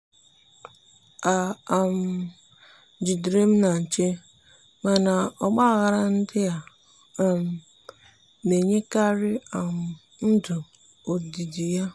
ị um jidere m na nche mana ọgba aghara ndị a um na-enyekarị um ndụ ọdịdị ya.